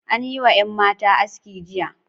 An yi wa yan matan aski jiya.